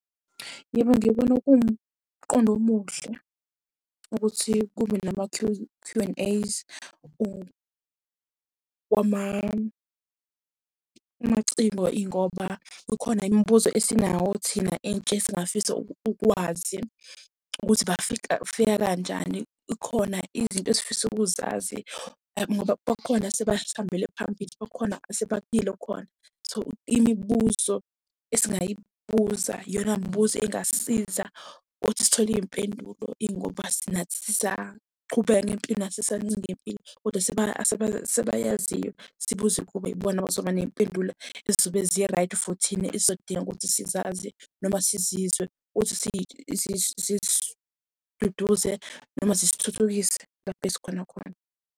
Yebo, ngibona kuwumqondo omuhle, ukuthi kube nama Q and A's kwamaciko ingoba kukhona imibuzo esinawo thina intsha esingafisa ukuwazi. Ukuthi bafika fika kanjani khona izinto esifisa ukuzazi, ngoba bakhona esebasihambele phambili, bakhona khona. So, imibuzo esingayibuza iyona mibuzo engasisiza ukuthi sithole iy'mpendulo Ingoba nathi sisaqhubeka ngempilo, nathi sisancenga impilo. Kodwa asebayaziyo sibuze kubo yibona abazoba ney'mpendulo ey'zobe zi-right for thina ey'zodinga ukuthi sizazi noma sizizwe. Ukuthi zisiduduze noma zisithuthukise lapho ezikhona khona.